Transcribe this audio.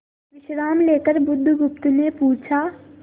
विश्राम लेकर बुधगुप्त ने पूछा